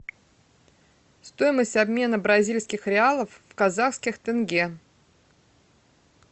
стоимость обмена бразильских реалов в казахских тенге